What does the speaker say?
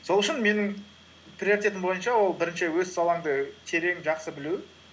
сол үшін менің приоритетім бойынша ол бірінші өз салаңды терең жақсы білу